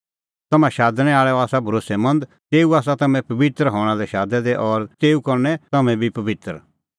तम्हां शादणैं आल़अ आसा भरोस्सैमंद तेऊ आसा तम्हैं पबित्र हणां लै शादै दै और तेऊ करनै तम्हैं बी पबित्र